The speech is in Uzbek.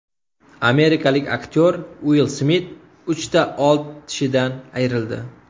Amerikalik aktyor Uill Smit uchta old tishidan ayrildi .